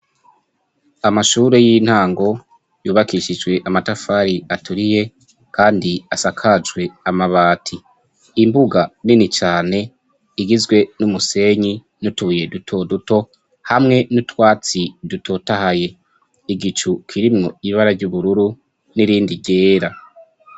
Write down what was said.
Amashuri y'intango yubakishijwe amatafari aturiye, kandi asakajwe amabati imbuga nini cane igizwe n'umusenyi n'utuye dutoduto hamwe n'utwatsi dutotahaye igicu kirimwo ibara ry'ubururu n'irindi ryera a.